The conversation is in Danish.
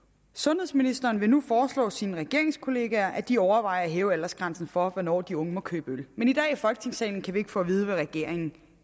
sundhedsministeren vil nu foreslå sine regeringskolleger at de overvejer at hæve aldersgrænsen for hvornår de unge må købe øl men i dag i folketingssalen kan vi ikke få at vide hvad regeringen